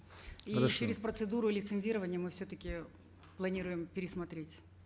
хорошо через процедуру лицензирования мы все таки планируем пересмотреть